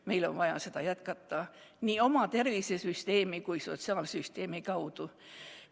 Meil on vaja seda jätkata nii oma tervisesüsteemi kui ka sotsiaalsüsteemi kaudu.